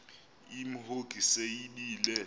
imhongi se yibile